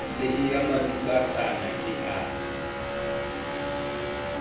le eya matubatsana ke a